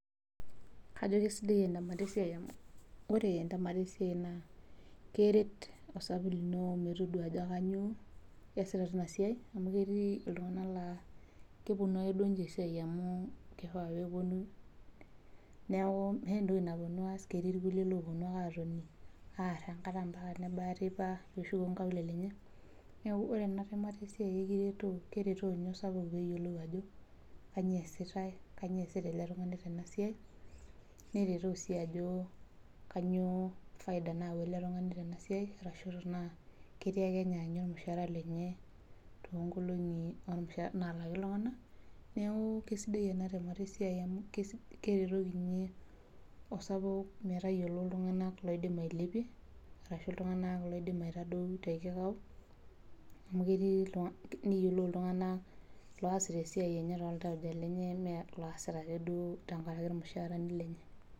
kajo kisidai entemata esiai amu keret osabu lino linasiai amu ketii iltunganak laa kepuonu ake niche esiai amu kifaa pee epuonu, ketii ilkulie laa kepuonu ake aar enkata mpaka nebaye enteipa , neeku ore entemata esiai naa kisaidia oleng amu keretoo tenaa ketii faida nayawua oltungani arashu tenaa kegira ake ninye aanyu olmushara lenye, nalaki iltunganak neeku kisidai enasiai amu kisho osapuk metayiolo ajo keng'ae ilepie neyiolou ilaitadou, neyiolou iltunganak osita esiai aitobiraki.